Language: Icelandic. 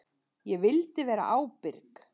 Ég vildi vera ábyrg.